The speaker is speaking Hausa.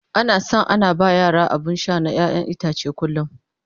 ana San ana ba yara abun Sha na ƴaƴan itace a kullum